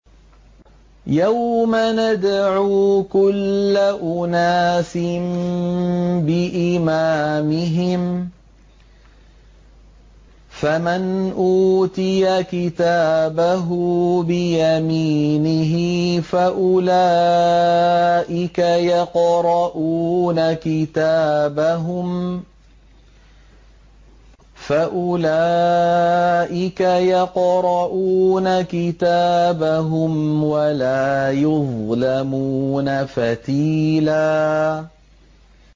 يَوْمَ نَدْعُو كُلَّ أُنَاسٍ بِإِمَامِهِمْ ۖ فَمَنْ أُوتِيَ كِتَابَهُ بِيَمِينِهِ فَأُولَٰئِكَ يَقْرَءُونَ كِتَابَهُمْ وَلَا يُظْلَمُونَ فَتِيلًا